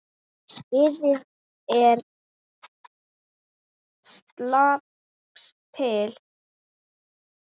Liðið er að slípast til.